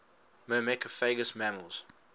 myrmecophagous mammals